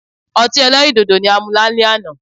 Ọti ẹlẹ́rìndòdò ni a mu lalẹ ana